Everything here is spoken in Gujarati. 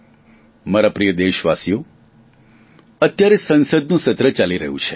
મારા પ્રિય દેશવાસીઓ અત્યારે સંસદનું સત્ર ચાલી રહ્યું છે